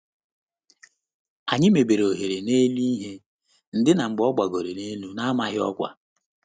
Anyị mebere ohere n'elu ihe ndina mgbe ọ gbagoro elu n'amaghị ọkwa.